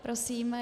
Prosím.